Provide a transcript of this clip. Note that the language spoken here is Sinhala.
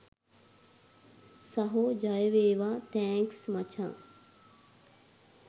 සහෝ ජයවේවා තැන්ක්ස් මචං.